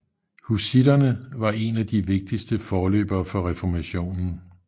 Hussitterne var en af de vigtigste forløbere for reformationen